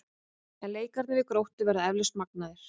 En leikirnir við Gróttu verða eflaust magnaðir.